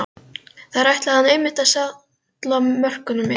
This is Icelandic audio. Þar ætlaði hann einmitt að salla mörkunum inn!